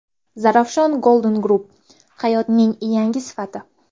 Zarafshan Golden Group hayotning yangi sifati.